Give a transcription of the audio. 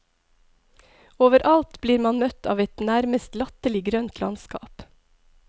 Overalt blir man møtt av et nærmest latterlig grønt landskap.